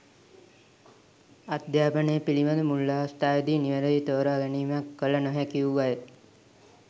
අධ්‍යාපනය පිළිබඳ මුල් අවස්ථාවේදී නිවැරදි තෝරා ගැනීමක් කළ නොහැකි වූ අය